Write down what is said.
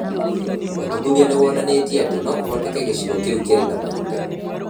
ũthuthuria nĩ wonanĩtie atĩ no kũhoteke gĩcigo kĩu kĩrĩ na maguta.